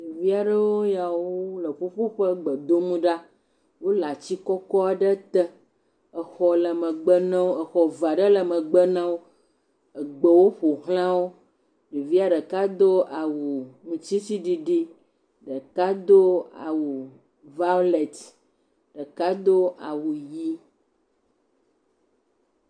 ɖeviaɖewo yawo wóle ƒuƒoƒe gbedom ɖa wóle atsi kɔkɔ ɖe te exɔ le megbe nawo exɔ va ɖe le megbe newo gbewo ƒoxlawo ɖevia ɖeka dó awu ŋtisiɖiɖi ɖeka dó awu violet ɖeka dó awu yi